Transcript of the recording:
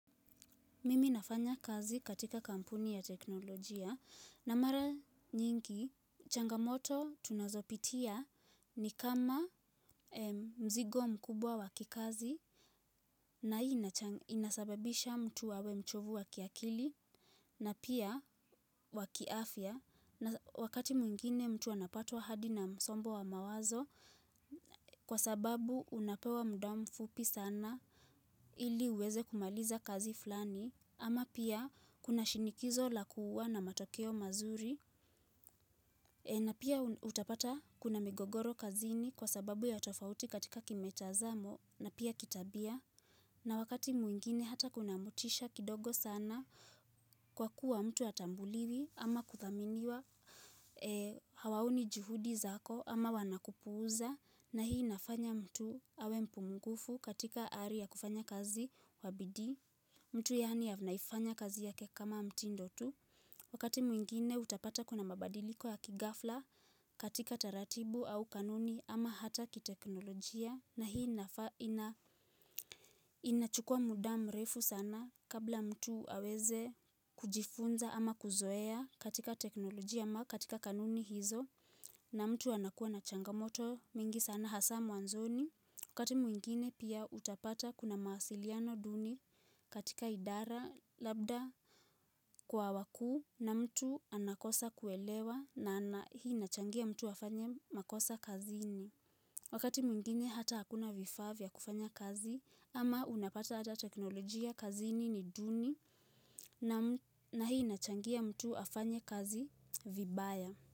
Mimi nafanya kazi katika kampuni ya teknolojia na mara nyingi changamoto tunazopitia ni kama mzigo mkubwa wa kikazi na hii inasababisha mtu awe mchovu wa kiakili na pia wakiafya na wakati mwingine mtu anapatwa hadi na msombo wa mawazo kwa sababu unapewa muda mfupi sana ili uweze kumaliza kazi fulani. Ama pia kuna shinikizo lakua na matokeo mazuri na pia utapata kuna migogoro kazini kwa sababu ya tofauti katika kimitazamo na pia kitabia na wakati mwingine hata kuna motisha kidogo sana kwa kuwa mtu hatambuliwi ama kuthaminiwa Hawaoni juhudi zako ama wanakupuuza na hii inafanya mtu awe mpungufu katika ari ya kufanya kazi kwa bidii mtu yaani anaifanya kazi yake kama mtindo tu Wakati mwingine utapata kuna mabadiliko ya kighafla katika taratibu au kanuni ama hata kiteknolojia na hii inachukua muda mrefu sana kabla mtu aweze kujifunza ama kuzoea katika teknolojia ama katika kanuni hizo na mtu anakuwa na changamoto mingi sana hasa mwanzoni Wakati mwingine pia utapata kuna mawasiliano duni katika idara labda kwa wakuu na mtu anakosa kuelewa na hii nachangia mtu afanye makosa kazini. Wakati mwingine hata hakuna vifaa vya kufanya kazi ama unapata hata teknolojia kazini ni duni na hii inachangia mtu afanye kazi vibaya.